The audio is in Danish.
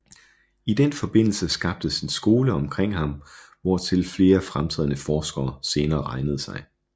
I den forbindelse skabtes en skole omkring ham hvortil flere fremtrædende forskere senere regnede sig